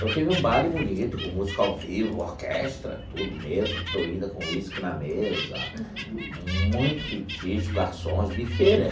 Então teve um baile bonito, com música ao vivo, orquestra, tudo, mesa florida, com uísque na mesa, muito petisco, garçons, bufê, né?